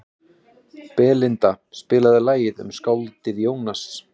Belinda, spilaðu lagið „Um skáldið Jónas“.